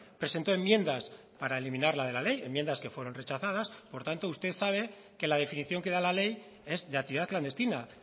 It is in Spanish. presentó enmiendas para eliminarla de la ley enmiendas que fueron rechazadas por tanto usted sabe que la definición que da la ley es de actividad clandestina